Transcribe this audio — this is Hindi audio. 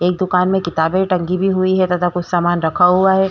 एक दुकान में किताबे टंगी भी हुई हैं तथा कुछ समाने रखा हुआ हैं।